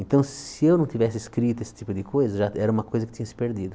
Então, se eu não tivesse escrito esse tipo de coisa, já era uma coisa que tinha se perdido.